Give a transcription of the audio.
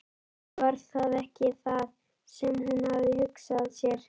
Eða var það ekki það sem hún hafði hugsað sér?